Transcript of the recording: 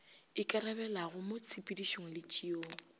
ikarabelago mo tshepedišong le tšeong